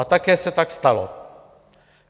A také se tak stalo.